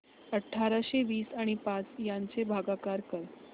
अठराशे वीस आणि पाच यांचा भागाकार कर